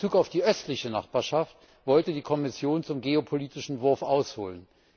In Bezug auf die östliche Nachbarschaft wollte die Kommission zum geopolitischen Wurf ausholen.